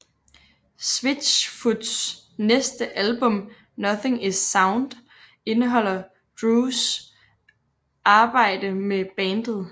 Switchfoots næste album Nothing is Sound indeholder Drews arbejde med bandet